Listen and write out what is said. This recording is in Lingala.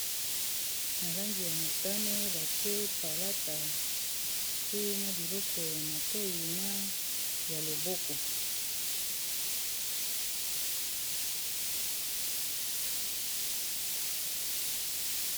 na langi ya motane batie palata pe na biloko ya matoi na ya loboko